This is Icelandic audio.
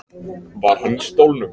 Var hann í stólnum?